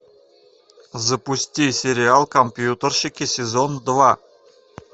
запусти сериал компьютерщики сезон два